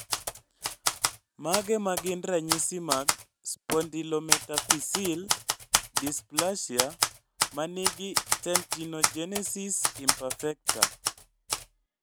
Mage magin ranyisi mag Spondylometaphyseal dysplasia manigi dentinogenesis imperfecta?